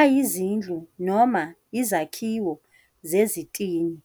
ayizindlu noma izakhiwo zezitini.